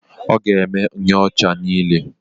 Ọ ga-eme nyocha niile.